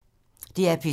DR P2